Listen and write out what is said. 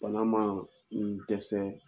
Bana maa i dɛsɛ